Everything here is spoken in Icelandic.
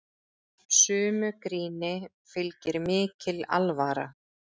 Sumu gríni fylgir mikil alvara.